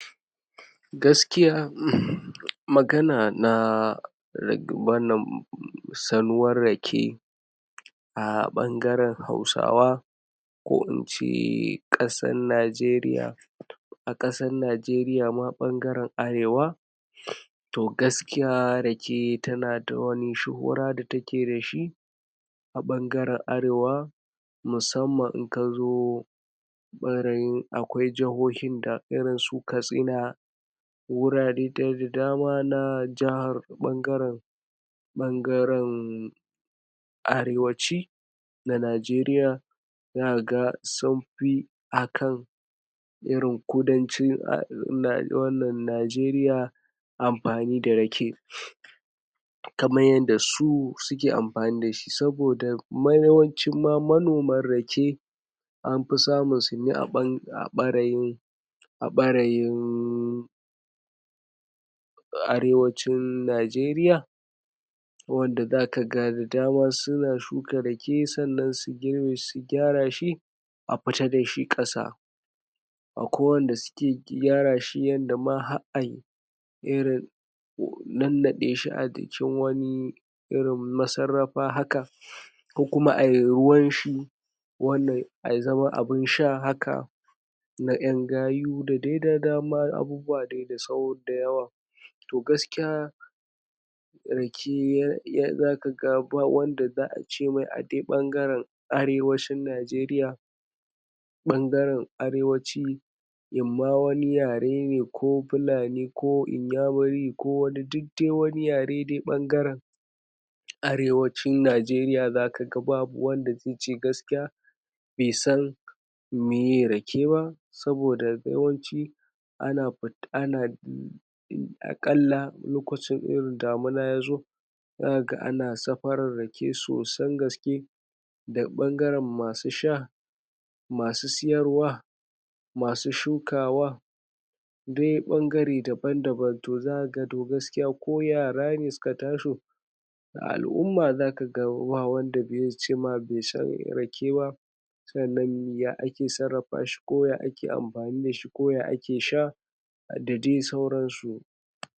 Gaskiya um magana na ra. wannan salwar rake a bangaren hausawa ko ince Ƙasar Najeriya a Ƙasar Najeriya ma bangaren arewa, to gaskiya rake tana da wani shuhura da take dashi a bangaren arewa musamman in kazo barin akwai jahohin da irinsu katsina, wurare dai da dama na jaha. bangaren bangaren. arewaci na Najeriya zakaga sunfi akan irin kudancin um. wannan najeriya amfani da rake kaman yadda su suke amfani dashi saboda ma. yawancin ma manoman rake an fi samun su ne a bange. a ɓarayin a ɓayarin. arewacin najeriya wanda zakaga da dama suna shuka rake sannan su giirbe su gyara shi a fita da shi Ƙasa akwai wanda suke gyara shi yadda ma har ai irin nannaɗe shi a jikin wani irin massarafa haka kokuma ayi ruwanshi wannan um. ya zama abin sha haka na yan gayu. dadai sauran abubuwa dai da yawa to gaskiya rake zaka ga ba wanda za'a ce mai a dai bangaren arewacin najeriya bangaren arewaci inma wani yare ne ko pulani ko inyamiri ko wani yare dai duk wani yare bangaren arewacin najeriya zaka babu wanda zaice gaskiya baisan meye rake ba, saboda yawanci ana fid. anaa.. akalla lokacin irin damina yazo sakaga ana safaran rake sosan gaske daga bangaren masu sha, masu siyarwa, masu shukawa dai bangare daban daban, to zakaga to ko yara ne suka taso a al'umma, zakaga ba wanda zaice ma baisan rake ba sannan ya ake sarrafa shi ko ya ake amfani dashi ko ya ake sha dadai sauransu.